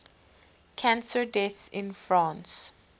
cancer deaths in france